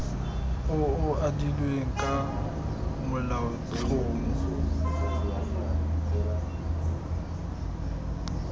o o adilweng ka molaotlhomo